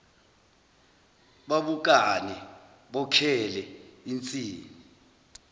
babukane bokhele insini